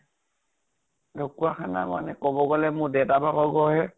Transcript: ঢকোৱাখানা মানে কʼব গলে মোৰ দেতা ভাগৰ ঘৰ হে ।